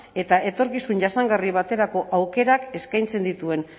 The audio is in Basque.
eta etorkizun jasangarri baterako aukerak eskaintzen dituen